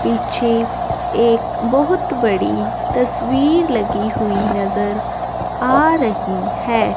पीछे एक बहोत बड़ी तस्वीर लगी हुई नजर आ रही है।